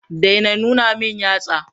Daina nuna min yatsa.